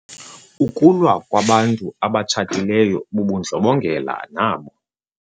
Ukulwa kwabantu abatshatileyo bubundlobongela nabo.